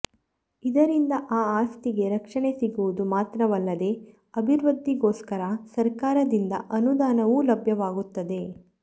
ಇದರಿಂದ ಆ ಆಸ್ತಿಗೆ ರಕ್ಷಣೆ ಸಿಗುವುದು ಮಾತ್ರವಲ್ಲದೆ ಅಭಿವೃದ್ಧಿಗೋಸ್ಕರ ಸಕರ್ಾರದಿಂದ ಅನುದಾನವೂ ಲಭ್ಯವಾಗುತ್ತದೆ